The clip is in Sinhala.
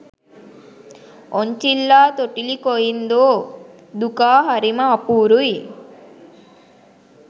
ඔන්චිල්ලා තොටිලි කොයින්දෝ දුකා හරිම අපූරුයි.